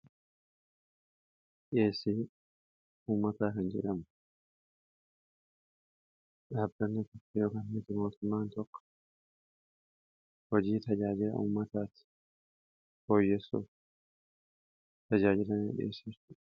dhiyeesi ummataa kan jedhamu dhaabbanniyookiin mootummaan tokko hojii tajaajila ummataatti fooyyessoof tajaajila inni dhiyeessuudha